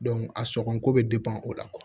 a sɔngɔ ko bɛ o la